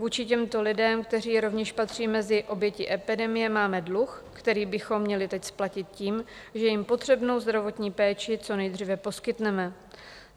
Vůči těmto lidem, kteří rovněž patří mezi oběti epidemie, máme dluh, který bychom měli teď splatit tím, že jim potřebnou zdravotní péči co nejdříve poskytneme.